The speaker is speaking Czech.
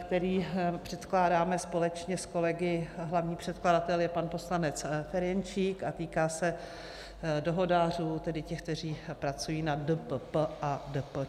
který předkládáme společně s kolegy, hlavní předkladatel je pan poslanec Ferjenčík, a týká se dohodářů, tedy těch, kteří pracují na DPP a DPČ.